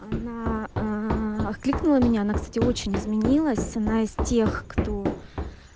она а кликнула меня она кстати очень изменилась она из тех кто